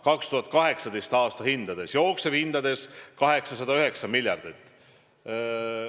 See on 2018. aasta hindades, jooksevhindades on see 809 miljardit.